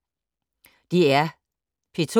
DR P2